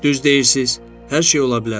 Düz deyirsiz, hər şey ola bilər.